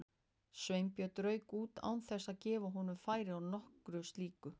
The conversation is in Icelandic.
Sveinbjörn rauk út án þess að gefa honum færi á nokkru slíku.